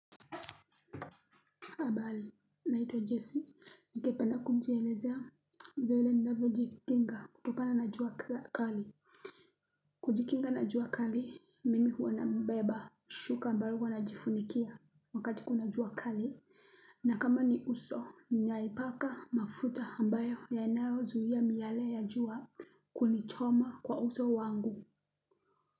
Habari, naitwa Jesse, ningepena kujielezea, vile ninavyo jikinga, kutokana na jua kali. Kujikinga na jua kali, mimi huwa na beba, shuka ambalo huwa najifunikia, wakati kuna jua kali. Na kama ni uso, naipaka mafuta ambayo, ya nayo zuia miale ya jua, kunichoma kwa uso wangu.